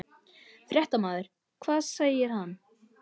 Fréttamaður: Hvað segir hann?